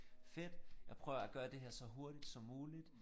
Fedt jeg prøver at gøre det her så hurtigt som muligt